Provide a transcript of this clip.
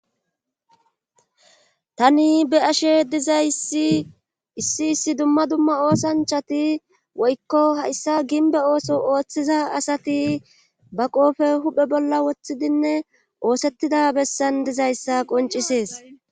Tani be ashe dizaysi issi issi dumma dumma oosanchati woykko hayssa ginbe ooso ooththiza asati ba qoofe huphe bolla woththidinne oosettida bessan dizayssa qoncisees.